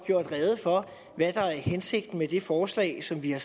gjort rede for hvad der er hensigten med det forslag som vi har